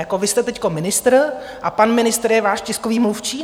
Jako vy jste teď ministr a pan ministr je váš tiskový mluvčí?